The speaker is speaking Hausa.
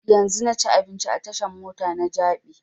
Yanzun na ci abinci a tashan mota na jabi